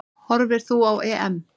Horfir þú á EM?